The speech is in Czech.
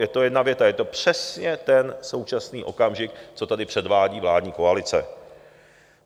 Je to jedna věta, je to přesně ten současný okamžik, co tady předvádí vládní koalice.